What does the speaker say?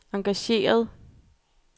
engageret